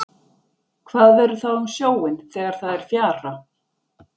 hvað verður þá um sjóinn þegar það er fjara